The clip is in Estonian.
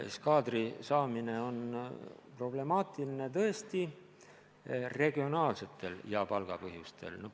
Kaadri saamine on problemaatiline just regionaalsetel ja palgapõhjustel.